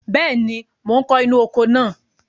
Bẹ́ẹ̀ni, mò ń kó inú oko náà.